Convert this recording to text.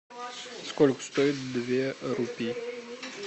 сколько стоит две рупии